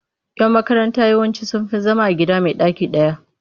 Yan makaranta yawanci sun fi zama a gida mai ɗaki ɗaya.